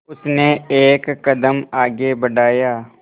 उसने एक कदम आगे बढ़ाया